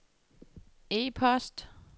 e-post